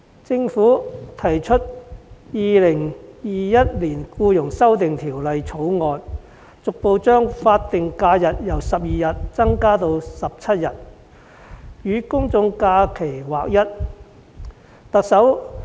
政府提出《2021年僱傭條例草案》，逐步將法定假日由12天增加至17天，使之與公眾假期日數看齊。